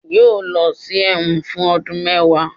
yóò lọ sí ẹwọ́n fun ọdun mẹwa